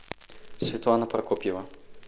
светлана прокопьева